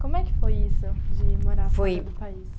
Como é que foi isso de morar. Foi. Fora do país?